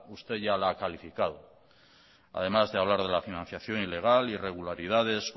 usted ya la ha calificado además de hablar de la financiación ilegal irregularidades